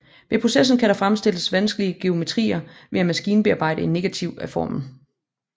Med processen kan der fremstilles vanskelige geometrier ved at maskinbearbejde en negativ af formen